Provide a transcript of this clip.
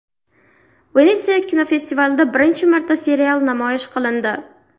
Venetsiya kinofestivalida birinchi marta serial namoyish qilindi.